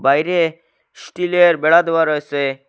এইটে স্টিলের বেড়া দেওয়া রয়সে।